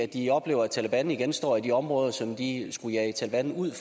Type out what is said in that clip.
de oplever at taleban igen står i de områder som de skulle jage taleban ud